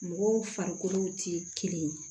Mɔgɔw farikolo tɛ kelen ye